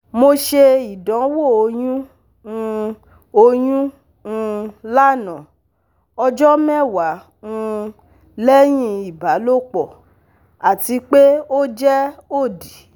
Mo ṣe idanwo oyun um oyun um lana (ọjọ mẹwa um lẹhin ibalopọ) ati pe o jẹ odi